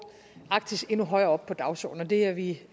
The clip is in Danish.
arktis endnu højere op på dagsordenen og det er vi